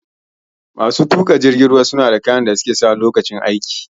Masu tuƙa jiragen ruwa suna da kayan da suke sawa Lokacin aiki